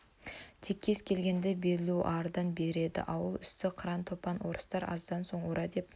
тек кез келгенді белуардан береді ауыл үсті қыран-топан орыстар аздан соң ура деп